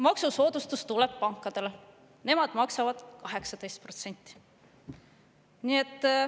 Maksusoodustus tuleb pankadele, nemad maksavad 18%.